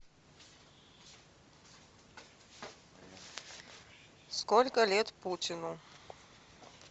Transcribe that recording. сколько лет путину